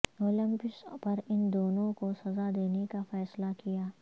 Olympus پر ان دونوں کو سزا دینے کا فیصلہ کیا